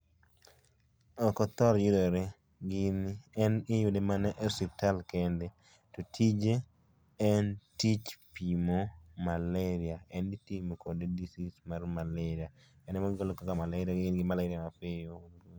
Ok othor yudore, gini en iyude mana e osiptal kende to tije en tich pimo malaria. En itimo kode disease mar malaria, en mogolo kaka malaria, in gi malaria mapiyo